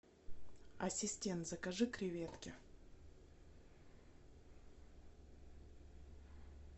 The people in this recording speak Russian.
ассистент закажи креветки